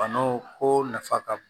Banaw ko nafa ka bon